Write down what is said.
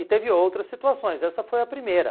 E teve outras situações, essa foi a primeira.